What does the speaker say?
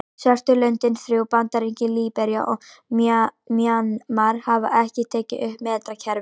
Svörtu löndin þrjú, Bandaríkin, Líbería og Mjanmar hafa ekki tekið upp metrakerfið.